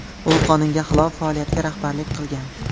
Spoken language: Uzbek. U qonunga xilof faoliyatga rahbarlik qilgan.